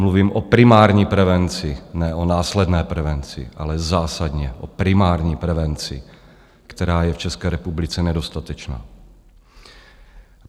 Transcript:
Mluvím o primární prevenci, ne o následné prevenci, ale zásadně o primární prevenci, která je v České republice nedostatečná.